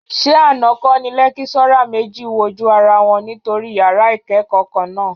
Ṣé àná kọ́ ni lékíṣọ́rà méjì wojú ara wọn nítorí yàrá ìkẹ́kọ̀ọ́ kan náà?